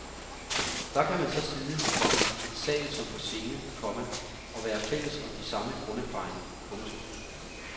Der kan man så sidde, komma i sal som på scene, komma og være fælles om de samme grunderfaringer. punktum